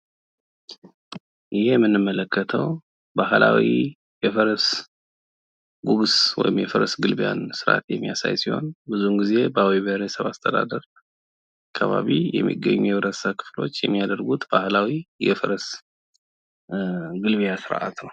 ይህ የምንመለከተው ባህላዊ የፈረስ ጉግስ ወይም የፈረስ ግልቢያን ስርአት የሚያሳይ ሲሆን ብዙውን ጊዜ በአዊ ብሄረሰብ አስተዳደር ከባቢ የሚገኝ የህብረተሰብ ክፍሎች የሚያደርጉት ባህላዊ የፈረስ ግልቢያ ስርአት ነው።